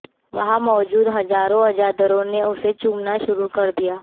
वहां मौजूद हजारों अजादारों ने उसे चूमना शुरू कर दिया